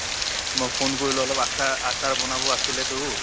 মই phone কৰিলো অলপ আচা~ আচাৰ বনাব আছিলেতো